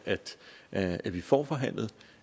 at at vi får forhandlet